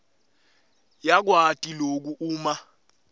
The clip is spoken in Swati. yakwati loku uma